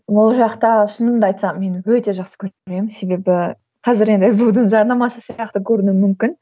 ол жақта шынымды айтсам мен өте жақсы көремін себебі қазір енді сду дың жарнамасы сияқты көрінуі мүмкін